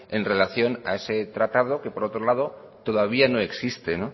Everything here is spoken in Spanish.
en relación a este tratado que por otro lado todavía no existe